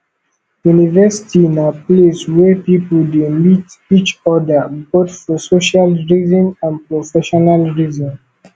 university na place where pipo de meet each oda both for social reason and professional reason